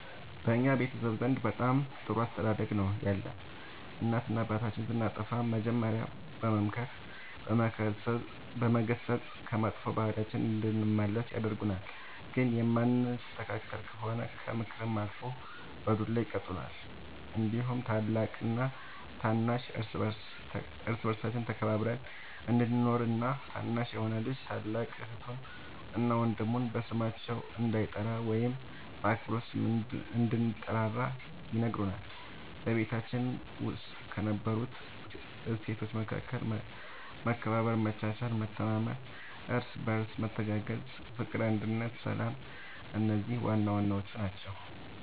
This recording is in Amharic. በእኛ ቤተሰብ ዘንድ በጣም ጥሩ አስተዳደግ ነው ያለን እናትና አባታችን ስናጠፋ መጀሪያ በመምከር በመገሰፅ ከመጥፎ ባህሪያችን እንድንመለስ ያደርጉናል ግን የማንስተካከል ከሆነ ከምክርም አልፎ በዱላ ይቀጡናል እንዲሁም ታላቅና ታናሽ እርስ በርሳችን ተከባብረን እንድንኖር እና ታናሽ የሆነ ልጅ ታላቅ እህቱን እና ወንድሙ በስማቸው እንዳይጠራ ወይም በአክብሮት ስም እንድንጠራራ ይነግሩናል በቤታችን ውስጥ ከነበሩት እሴቶች መካከል መከባበር መቻቻል መተማመን እርስ በርስ መተጋገዝ ፍቅር አንድነት ሰላም እነዚህ ዋናዋናዎቹ ናቸው